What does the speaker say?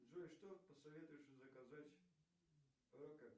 джой что посоветуешь заказать